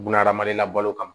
Bunahadamaden la balo kama